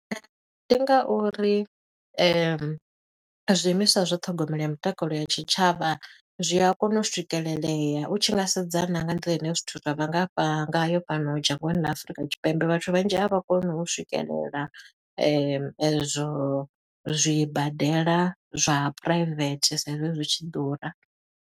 Ndi nga uri zwiimiswa zwa ṱhogomelo ya mutakalo ya tshitshavha, zwi a kona u swikelelea. U tshi nga sedza na nga nḓila ine zwithu zwa vha ngafha ngayo fhano dzhangoni ḽa Afurika Tshipembe. Vhathu vhanzhi a vha koni u swikelela ezwo zwibadela zwa private, sa i zwi zwi tshi ḓura.